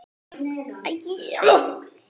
Gettu hvað?